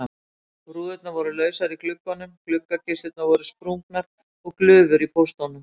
Rúðurnar voru lausar í gluggunum, gluggakisturnar voru sprungnar og glufur í póstunum.